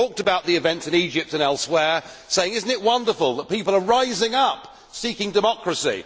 He talked about the events in Egypt and elsewhere, saying that it is wonderful that people are rising up seeking democracy.